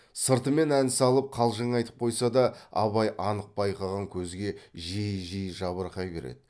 сыртымен ән салып қалжың айтып қойса да абай анық байқаған көзге жиі жиі жабырқай береді